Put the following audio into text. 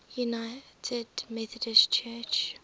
united methodist church